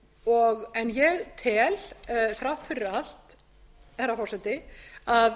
gjafsóknina en ég tel þrátt fyrir allt herra forseti að